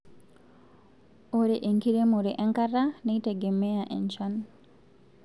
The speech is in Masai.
ore enkiremore enkata neitegenea enchan